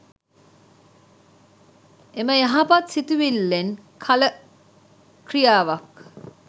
එම යහපත් සිතුවිල්ලෙන් කළ ක්‍රියාවක්